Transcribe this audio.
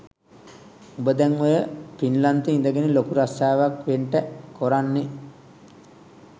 උඹ දැන් ඔය පින්ලන්තෙ ඉඳගෙන ලොකු රස්සාවක් වෙන්ටැ කොරන්නෙ?